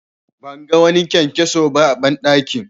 Ban ga wani kyankyaso ba a banɗakin.